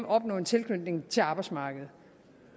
opnå en tilknytning til arbejdsmarkedet